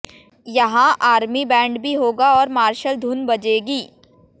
यहां army band भी होगा और मार्शल धुन बजेगी